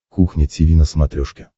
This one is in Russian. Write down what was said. кухня тиви на смотрешке